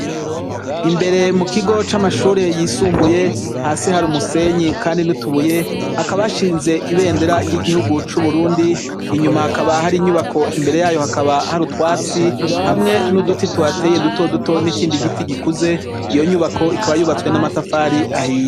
Imbere mukigo c'amashure yisumbuye, hasi harumusenyi kandi n'utubuye hakaba hashine ibendera ry'igihugu c'uburundi inyuma hakaba hari inyubako imbere yayo hakaba harutwatsi hamwe n'uduti tuhateye dutoduto nikindi giti gikuze iyonyubako ikaba yubatwe n'amatafari ahiye.